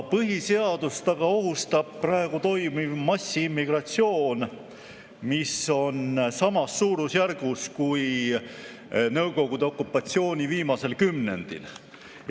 Põhiseadust aga ohustab praegu toimuv massiimmigratsioon, mis on samas suurusjärgus kui Nõukogude okupatsiooni viimasel kümnendil.